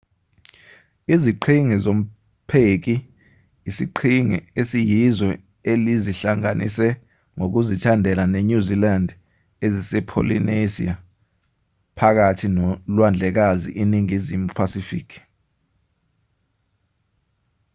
iziqhingi zompheki isiqhingi esiyizwe elizihlanganise ngokuzithandela nenyuzilandi ezisepholinesiya phakathi nolwandlekazi iningizimu phasifiki